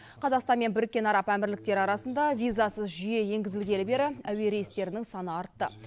қазақстан мен біріккен араб әмірліктері арасында визасыз жүйе енгізілгелі бері әуе рейстерінің саны артты